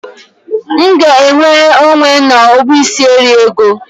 M ga-enwere onwe n'ọkpụisieriego?